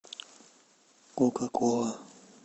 кока кола